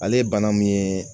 Ale ye bana min ye